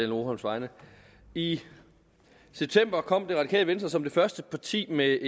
rugholms vegne i september kom det radikale venstre som det første parti med